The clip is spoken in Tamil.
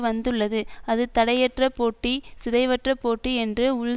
வந்துள்ளது அது தடையற்ற போட்டி சிதைவற்ற போட்டி என்ற உள்